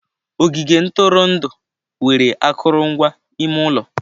Ogige ntụrụndụ nwere akụrụngwa ime ụlọ.